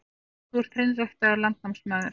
Þú ert hreinræktaður landnámsmaður.